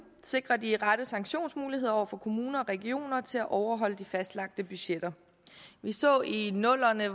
sikrer de rette sanktionsmuligheder over for kommuner og regioner til at overholde de fastlagte budgetter vi så i nullerne